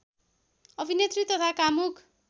अभिनेत्री तथा कामुक